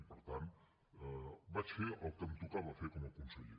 i per tant vaig fer el que em tocava fer com a conseller